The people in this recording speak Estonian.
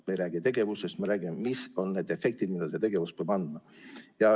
Me ei räägi tegevusest, me räägime, mis on need efektid, mida see tegevus peab andma.